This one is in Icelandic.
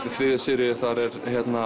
í þriðju seríu er